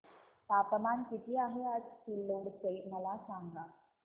तापमान किती आहे आज सिल्लोड चे मला सांगा